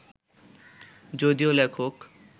যদিও লেখক